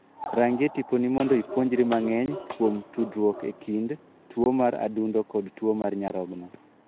Rangie tiponi mondo ipuonjri mang'eny kuom tudruok e kind tuo mar adundo kod tuo mar nyarogno.